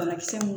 Banakisɛ mun